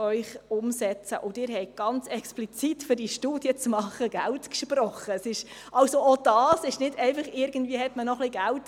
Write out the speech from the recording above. Ich gebe das Wort noch einmal dem Motionär, Grossrat Leuenberger.